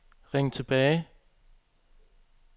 ring tilbage